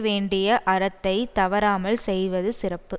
வேண்டிய அறத்தைத் தவறாமல் செய்வது சிறப்பு